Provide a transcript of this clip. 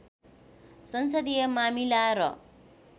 संसदीय मामिला र